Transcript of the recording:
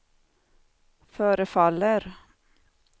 förefaller